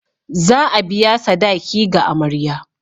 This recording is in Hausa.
Za a biya sadaki ga amarya.